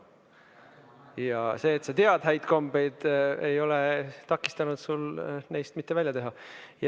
Ja see, et sa tead häid kombeid, ei ole takistanud sul neist mitte välja teha.